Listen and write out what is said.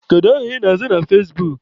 Kedu aha ị na-aza na fezbuk?